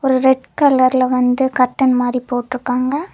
ஒரு ரெட் கலர்ல வந்து கர்ட்டன் மாதிரி போட்ருக்காங்க.